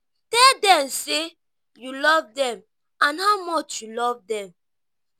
tell them sey you love them and how much you love them